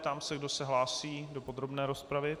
Ptám se, kdo se hlásí do podrobné rozpravy.